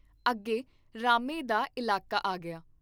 ਅੱਗੇ ਰਾਮੇ ਦਾ ਇਲਾਕਾ ਆ ਗਿਆ।